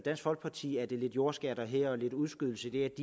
folkeparti at lidt jordskatter her og lidt udskydelse